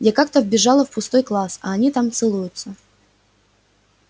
я как-то вбежала в пустой класс а они там целуются